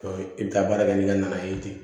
i bɛ taa baara kɛ n'i ka na ye ten